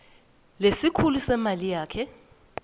lesikhulu semali kanye